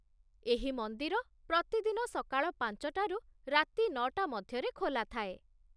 ଏହି ମନ୍ଦିର ପ୍ରତିଦିନ ସକାଳ ପାଞ୍ଚଟାରୁ ରାତି ନଅଟା ମଧ୍ୟରେ ଖୋଲାଥାଏ।